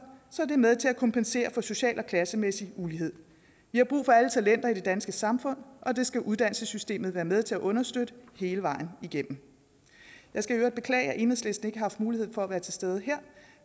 så det er med til at kompensere for social og klassemæssig ulighed vi har brug for alle talenter i det danske samfund og det skal uddannelsessystemet være med til at understøtte hele vejen igennem jeg skal i øvrigt beklage at enhedslisten ikke har haft mulighed for at være til stede her